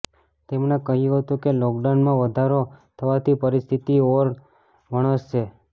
તેમણે કહ્યું હતું કે લોકડાઉનમાં વધારો થવાથી પરિસ્થિતિ ઓર વણસશે